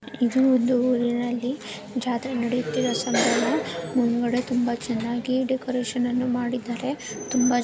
ಇದು ಒಂದು ಊರಿನಲ್ಲಿ ಜಾತ್ರೆ ನಡೆಯುತ್ತಿರುವ ಸಂದರ್ಭದಲ್ಲಿ ಮುಂದುಗಡೆ ತುಂಬಾ ಚೆನ್ನಾಗಿ ಡೆಕೋರೇಷನ್‌ ಅನ್ನು ಮಾಡಿದ್ದಾರೆ. ತುಂಬಾ--